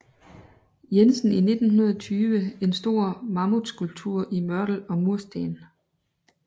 Jensen i 1920 en stor mammutskulptur i mørtel og mursten